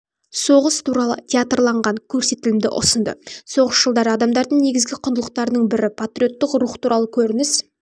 соғыс туралы театрланған көрсетілімді ұсынды соғыс жылдары адамдардың негізгі құндылықтардың бірі патриоттық рух туралы көрініс